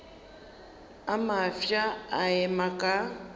a mafsa a ema ka